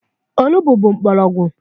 Olugbo bụ mgbọrọgwụ.